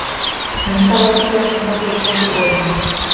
Undanlátssemi og huggun til óvina